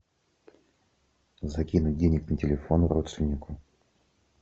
закинуть денег на телефон родственнику